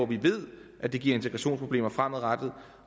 vi ved at det giver integrationsproblemer fremadrettet